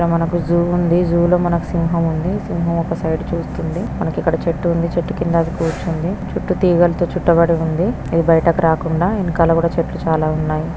ఇక్కడ మనకు జూ ఉందీ. జూ లో సింహం ఉంది. సింహం ఒక సైడ్ చూస్తుంది. మనకు ఇక్కడ చెట్టు ఉంది. చెట్టు కింద అది కూర్చుంది. చుట్టూ తీగలతో చుట్టబడి ఉంది. అది బయటకు రాకుండా వెనకాల కూడా చెట్లు చాలా ఉన్నాయి.